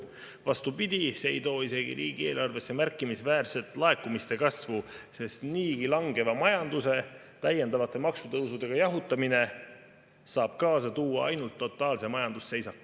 Vastupidi, see ei too isegi riigieelarvesse märkimisväärselt laekumiste kasvu, sest niigi langeva majanduse täiendavate maksutõusudega jahutamine saab kaasa tuua ainult totaalse majandusseisaku.